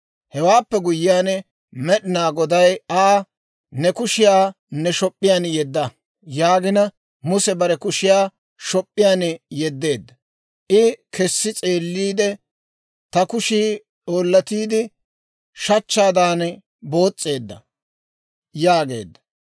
Hewaappe guyyiyaan Med'inaa Goday Aa, «Ne kushiyaa ne shop'p'iyaan yedda» yaagina, Muse bare kushiyaa shop'p'iyaan yeddeedda; I kessi s'eeliide, «ta kushii oollotiide shachchaadan boos's'eedda» yaageedda.